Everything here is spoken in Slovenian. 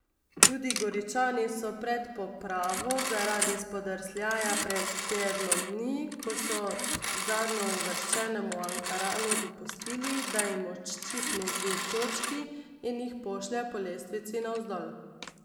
Tudi Goričani so pred popravo zaradi spodrsljaja pred tednom dni, ko so zadnjeuvrščenemu Ankaranu dopustili, da jim odščipne dve točki in jih pošlje po lestvici navzdol.